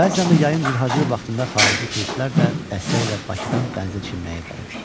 Bəzən də yayın cırhacır vaxtında xarici turistlər də dəstəylə Bakıdan dənizə çimməyə gəlirdi.